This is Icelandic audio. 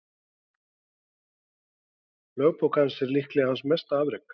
Lögbók hans er líklega hans mesta afrek.